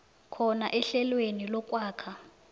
khona ehlelweni lokwakha